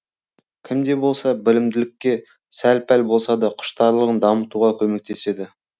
кімде болса білімділікке сәл пәл болса да құштарлығын дамытуға көмектеседі